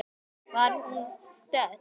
Hvar var hún stödd?